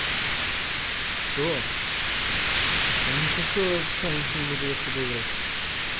что да не хочу отстань не буду я с тобой играть